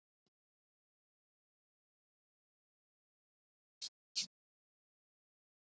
Það er sálarfræði vikuloka, og sálarfræði föstudaga.